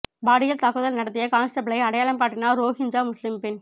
பாலியல் தாக்குதல் நடத்திய கான்ஸ்டபிளை அடையாளம் காட்டினார் ரோஹிஞ்சா முஸ்லிம் பெண்